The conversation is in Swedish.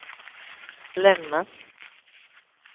lämnas